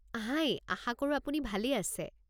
হাই, আশা কৰো আপুনি ভালেই আছে।